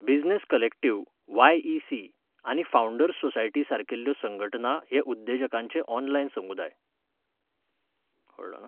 Business collective, YEC., आनी founders society सारकिल्ल्यो संघटना हे उद्देजकांचे ऑनलायन समुदाय.